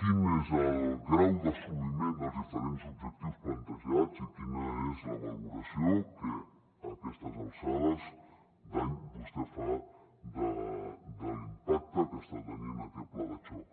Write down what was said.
quin és el grau d’assoliment dels diferents objectius plantejats i quina és la valoració que a aquestes alçades d’any vostè fa de l’impacte que està tenint aquest pla de xoc